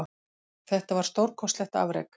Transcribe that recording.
Þetta var stórkostlegt afrek